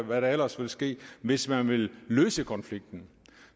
hvad der ellers vil ske hvis man vil løse konflikten